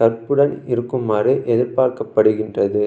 கற்புடன் இருக்குமாறு எதிர்பார்க்கப்படுகின்றது